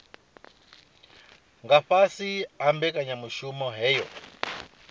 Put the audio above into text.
nga fhasi ha mbekanyamushumo yohe